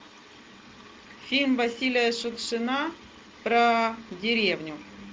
фильм василия шукшина про деревню